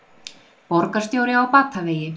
Borgarstjóri á batavegi